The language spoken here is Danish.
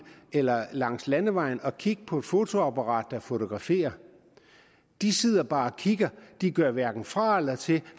eller langs landevejen og kigge på et fotoapparat der fotograferer de sidder bare og kigger de gør hverken fra eller til